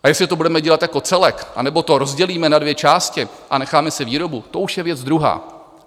A jestli to budeme dělat jako celek, anebo to rozdělíme na dvě části a necháme si výrobu, to už je věc druhá.